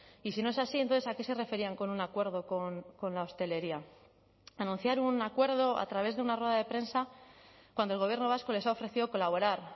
y si no es así entonces a qué se referían con un acuerdo con la hostelería anunciar un acuerdo a través de una rueda de prensa cuando el gobierno vasco les ha ofrecido colaborar